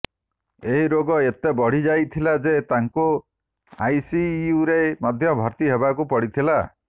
ଏହି ରୋଗ ଏତେ ବଢିଯାଇଥିଲା ଯେ ତାଙ୍କୁ ଆଇସିଇଉରେ ମଧ୍ୟ ଭର୍ତ୍ତି ହେବାକୁ ପଡ଼ିଥିଲା